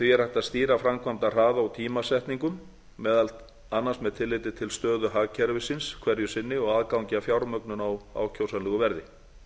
því er hægt að stýra framkvæmdahraða og tímasetningum meðal annars með tilliti til stöðu hagkerfisins hverju sinni og aðgangi að fjármögnun á ákjósanlegu verði því